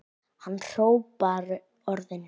Hann hrópar orðin.